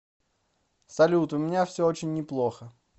салют у меня все очень неплохо